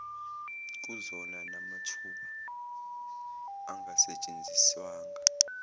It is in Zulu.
kuzona namathuba angasetshenziswanga